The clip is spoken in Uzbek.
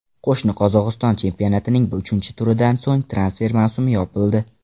Qo‘shni Qozog‘iston chempionatining uchinchi turidan so‘ng transfer mavsumi yopildi.